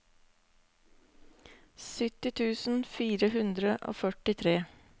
sytti tusen fire hundre og førtitre